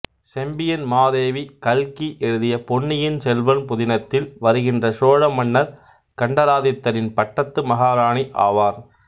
செம்பியன் மாதேவி கல்கி எழுதிய பொன்னியின் செல்வன் புதினத்தில் வருகின்ற சோழ மன்னர் கண்டராதித்தரின் பட்டத்து மகாராணி ஆவார்